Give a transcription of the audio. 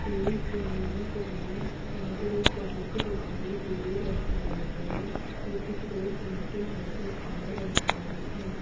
इस इमेज में यहां पर एक पार्क दिखाई दे रहा है और कुछ लोग घूमते नजर आ रहे हैं।